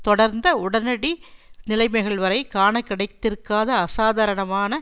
தொடர்ந்த உடனடி நிலைமைகள் வரை காணக்கிடைத்திருக்காத அசாதாரணமான